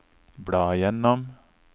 bla gjennom